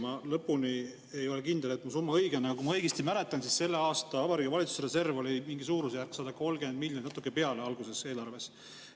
Ma lõpuni ei ole kindel, et mu summa õige on, aga kui ma õigesti mäletan, siis selle aasta Vabariigi Valitsuse reserv oli suurusjärgus 130 miljonit ja natuke peale alguses eelarves.